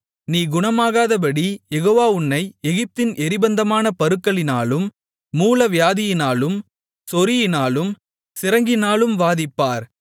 நீ குணமாகாதபடி யெகோவா உன்னை எகிப்தின் எரிபந்தமான பருக்களினாலும் மூலவியாதியினாலும் சொறியினாலும் சிரங்கினாலும் வாதிப்பார்